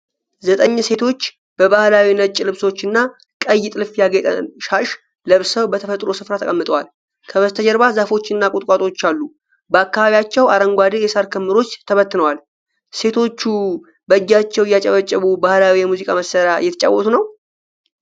ዘጠኝ ሴቶች በባህላዊ ነጭ ልብሶችና ቀይ ጥልፍ ያጌጠ ሻሽ ለብሰው በተፈጥሮ ስፍራ ተቀምጠዋል። ከበስተጀርባ ዛፎችና ቁጥቋጦዎች አሉ፤ በአካባቢያቸው አረንጓዴ የሳር ክምሮች ተበትነዋል። ሴቶቹ በእጃቸው እየጨበጨቡ ባህላዊ የሙዚቃ መሣሪያ እየተጫወቱ ነው?